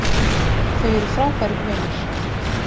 Þau eru frábærir vinir